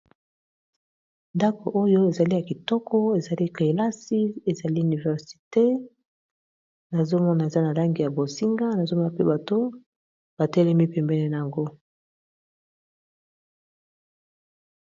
Ndako oyo ezali ya kitoko ezali kelasi ezali université nazomona eza na langi ya bosinga nazomona pe bato batelemi pembene na yango.